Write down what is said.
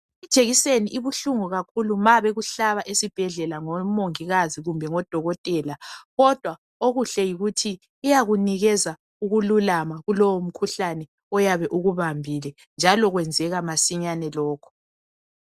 Ijekiseni ikuhlungu kakhulu ma bekuhlaba esibhedlela ngomungikazi kumbe odokotela. Kodwa okuhle yikuthi iyakunikeza ukululama kulowo mkhuhlane oyabe ukubambile. Njalo kwrnzeka madinyane lokho.